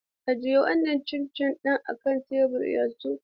Ajiye wannan cin cin ɗin a kan tebur yanzu!